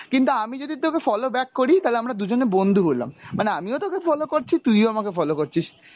কিন্তু আমি যদি তোকে follow back করি তালে আমরা দুজনে বন্ধু হোলাম, মানে আমিও তোকে follow করছি তুই ও আমাকে follow করছিস।